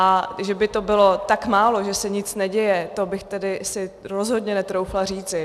A že by to bylo tak málo, že se nic neděje, to bych tedy si rozhodně netroufla říci.